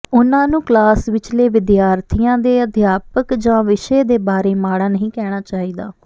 ਉਨ੍ਹਾਂ ਨੂੰ ਕਲਾਸ ਵਿਚਲੇ ਵਿਦਿਆਰਥੀਆਂ ਦੇ ਅਧਿਆਪਕ ਜਾਂ ਵਿਸ਼ੇ ਦੇ ਬਾਰੇ ਮਾੜਾ ਨਹੀਂ ਕਹਿਣਾ ਚਾਹੀਦਾ